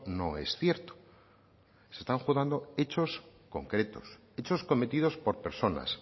no es cierto se están juzgando hechos concretos hechos cometidos por personas